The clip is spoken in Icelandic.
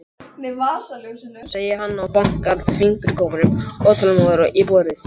segir hann og bankar fingurgómunum óþolinmóður í borðið.